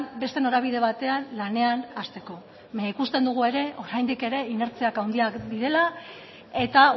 beste norabide batean lanean hasteko baina ikusten dugu ere oraindik ere inertziak handiak direla eta